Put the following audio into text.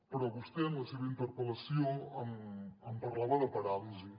però vostè en la seva interpel·lació em parlava de paràlisi